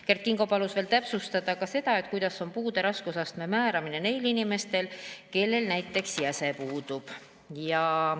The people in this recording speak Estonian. Kert Kingo palus täpsustada ka seda, kuidas toimub puude raskusastme määramine neil inimestel, kellel näiteks jäse puudub.